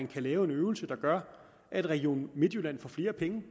kan laves en øvelse der gør at region midtjylland får flere penge det